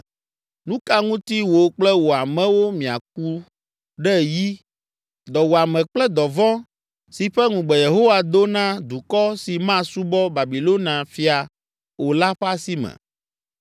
Nu ka ŋuti wò kple wò amewo miaku ɖe yi, dɔwuame kple dɔvɔ̃ si ƒe ŋugbe Yehowa do na dukɔ si masubɔ Babilonia fia o la ƒe asi me?